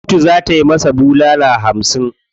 Kotu za ta masa bulala hamsin.